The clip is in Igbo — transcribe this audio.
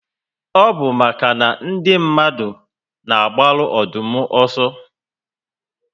Ọ bu màkà na ndị mmadụ na agbaru Ọdụm ọsọ